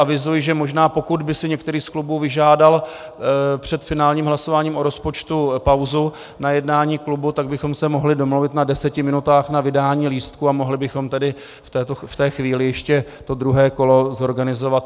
Avizuji, že možná pokud by si některý z klubů vyžádal před finálním hlasováním o rozpočtu pauzu na jednání klubu, tak bychom se mohli domluvit na deseti minutách na vydání lístků a mohli bychom tedy v této chvíli ještě to druhé kolo zorganizovat.